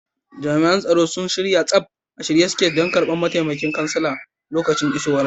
Jami'an tsaro sun sanye gaba ɗaya, a shirye suke su karbi mataimakin kansala a lokacin isowarsa.